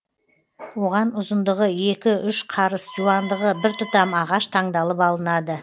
оған ұзындығы екі үш қарыс жуандығы бір тұтам ағаш таңдалып алынады